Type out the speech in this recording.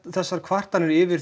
þessar kvartanir yfir